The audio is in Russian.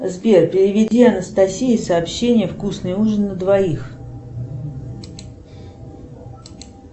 сбер переведи анастасии сообщение вкусный ужин на двоих